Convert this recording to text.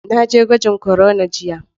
Na je gwajin corona jiya.